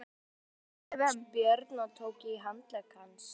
Sérðu, sagði Björn og tók í handlegg hans.